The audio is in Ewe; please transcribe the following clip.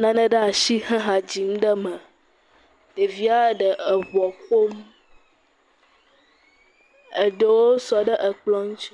nane ɖe asi he ha dzim ɖe me, ɖevia ɖe eŋuɔ ƒom, eɖewo sɔ ɖe ekplɔ ŋuti.